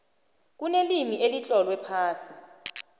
kunelimi elitlolwe phasi